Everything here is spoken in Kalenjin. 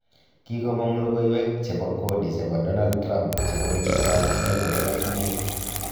Kogimoong' logoweek chebo kodi chebo Donald Trump chebo kenyit ab 2005.